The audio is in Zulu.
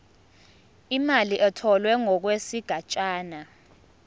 imali etholwe ngokwesigatshana